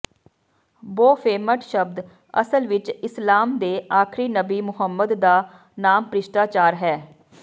Baphomet ਸ਼ਬਦ ਅਸਲ ਵਿਚ ਇਸਲਾਮ ਦੇ ਆਖਰੀ ਨਬੀ ਮੁਹੰਮਦ ਦਾ ਨਾਮ ਭ੍ਰਿਸ਼ਟਾਚਾਰ ਹੈ